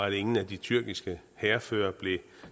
ingen af de tyrkiske hærførere blev